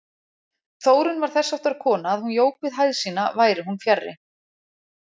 Þórunn var þessháttar kona að hún jók við hæð sína væri hún fjarri.